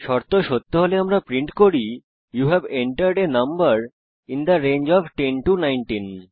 শর্ত সত্য হলে আমরা প্রিন্ট করি you have entered a number in the range of 10 19